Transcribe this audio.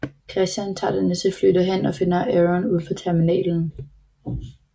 Christian tager det næste fly derhen og finder Aaron udenfor terminalen